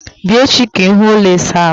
Bịa echi ka ịhụ ụlọ ịsa ahụ m